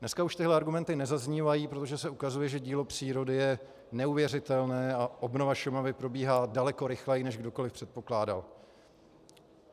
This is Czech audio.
Dneska už tyhle argumenty nezaznívají, protože se ukazuje, že dílo přírody je neuvěřitelné a obnova Šumavy probíhá daleko rychleji, než kdokoliv předpokládal.